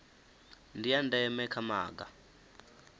ndi a ndeme kha maga